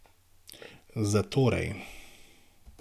Zatorej.